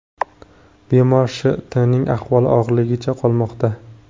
Bemor Sh.T.ning ahvoli og‘irligicha qolmoqda.